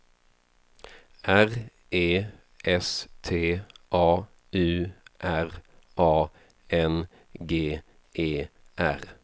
R E S T A U R A N G E R